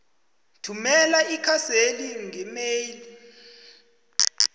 thumela ikhaseli ngeemail